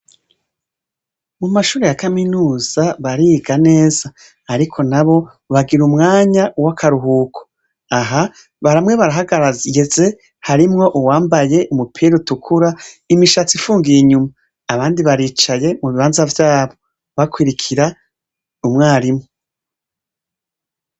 Mumashure ya kaminuza bariga neza ariko nabo bagira umwanya wakaruhuko aha bamwe barahagaze harimwo uwambaye umupira utukura imishatsi ifungiye inyuma abandi baricaye mubibanza vyayo bakwirikira umwarimu